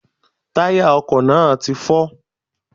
Táyà ọkò náà ti fọ́